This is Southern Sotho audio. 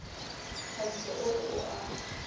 thabiso o re o a